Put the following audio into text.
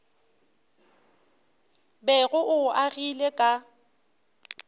bego o o agile ka